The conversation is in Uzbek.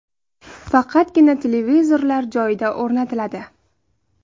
Faqatgina televizorlar joyida o‘rnatiladi.